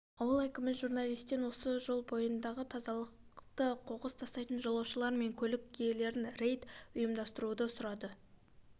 ауыл әкімі журналистен осы жол бойындағы тазалықты қоқыс тастайын жолаушылар мен көлік иелерінен рейд ұйымдастыруы сұрады